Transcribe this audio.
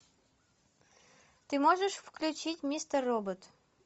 ты можешь включить мистер робот